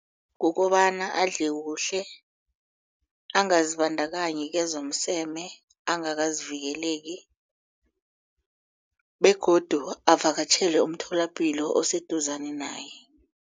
Kukobana adle kuhle angazibandakanyi kezomseme angakazivikeleki begodu avakatjhele umtholapilo oseduzane naye.